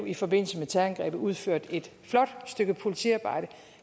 i forbindelse med terrorangrebet blev udført et flot stykke politiarbejde og